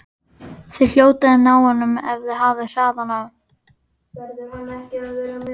Þið hljótið að ná honum ef þið hafið hraðan á.